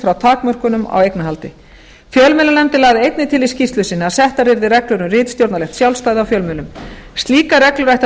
frá takmörkunum á eignarhaldi fjölmiðlanefndin lagði einnig til í skýrslu sinni að settar yrðu reglur um ritstjórnarlegt sjálfstæði á fjölmiðlum slíkar reglur ættu að